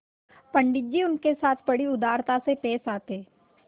पंडित जी उनके साथ बड़ी उदारता से पेश आते